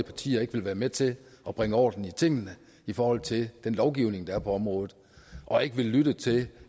partier ikke vil være med til at bringe orden i tingene i forhold til den lovgivning der er på området og ikke vil lytte til